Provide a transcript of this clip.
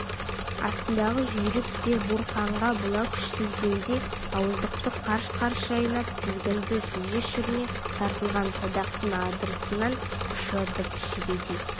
астындағы жүйрік те буырқанған бұла күшті сезгендей ауыздықты қарш-қарш шайнап тізгінді сүзе шірене тартылған садақтың адырнасынан ұшатын жебедей